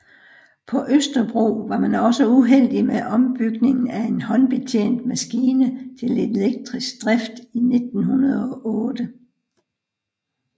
På Østerbro var man også uheldig med ombygningen af en håndbetjent maskine til elektrisk drift i 1908